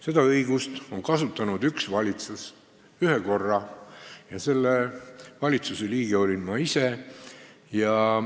Seda õigust on kasutanud üks valitsus ühe korra ja selle valitsuse liige olin ma ise.